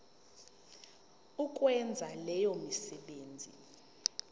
ukwenza leyo misebenzi